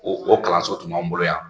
O o kalanso tun b'anw bolo yan.